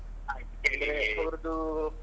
ಆಯ್ತು ಕೇಳೀ.